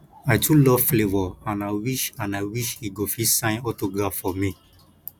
i too love flavour and i wish and i wish he go fit sign autograph for me